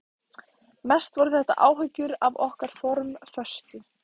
Mest voru þetta áhyggjur af okkar formföstu